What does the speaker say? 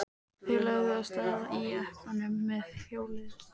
Þeir lögðu af stað í jeppanum með hjólið uppá þaki.